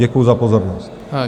Děkuji za pozornost.